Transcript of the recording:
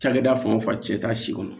Cakɛda fan o fan cɛ t'a si kɔnɔ